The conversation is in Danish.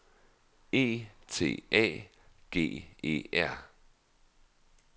E T A G E R